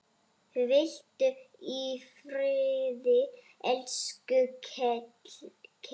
Hvíldu í friði, elsku Keli.